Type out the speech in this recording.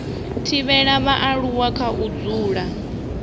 thivhela vhaaluwa kha u dzula